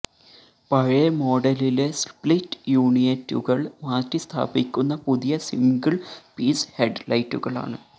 പഴയ മോഡലിലെ സ്പ്ലിറ്റ് യൂണിറ്റുകൾ മാറ്റിസ്ഥാപിക്കുന്ന പുതിയ സിംഗിൾ പീസ് ഹെഡ്ലൈറ്റുകളാണ്